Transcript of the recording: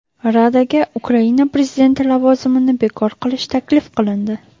Radaga Ukraina prezidenti lavozimini bekor qilish taklif qilindi.